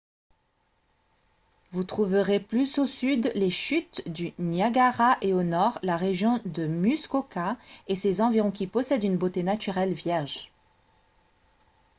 vous trouverez plus au sud les chutes du niagara et au nord la région de muskoka et ses environs qui possèdent une beauté naturelle vierge